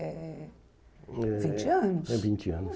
É, vinte anos. é vinte anos